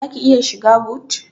Zaki iya shiga but?